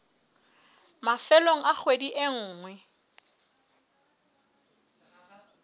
mafelong a kgwedi e nngwe